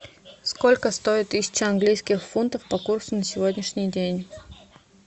сколько стоит тысяча английских фунтов по курсу на сегодняшний день